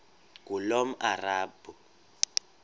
ngulomarabu